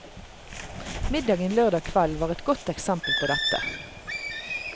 Middagen lørdag kveld var et godt eksempel på dette.